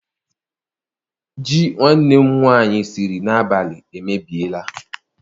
Ji nwanne m nwaanyị siri n'abalị emebiela.